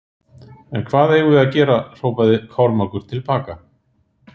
En hvað eigum við að gera hrópaði Kormákur til baka.